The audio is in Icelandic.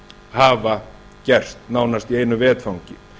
hafa gerst nánast í einu vetfangi